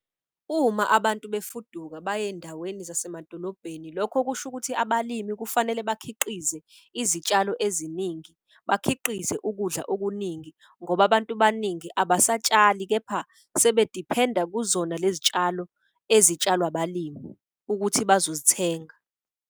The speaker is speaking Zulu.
Uma abantu befuduka baye ey'ndaweni zasemadolobheni, lokho kusho ukuthi abalimi kufanele bakhiqize izitshalo eziningi. Bakhiqize ukudla okuningi ngoba abantu baningi abasatshali kepha sebediphenda kuzona lezi tshalo ezitshalwa abalimi ukuthi bazozithenga.